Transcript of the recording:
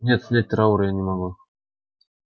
нет снять траур я не могу